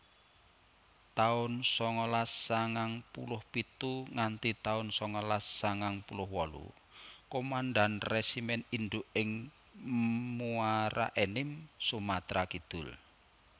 taun sangalas sangang puluh pitu nganti taun sangalas sangang puluh wolu Komandan Resimen Induk ing Muaraenim Sumatra Kidul